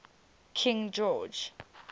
king george